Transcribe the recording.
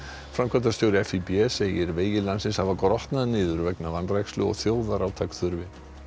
framkvæmdastjóri segir vegi landsins hafa grotnað niður vegna vanrækslu og þjóðarátak þurfi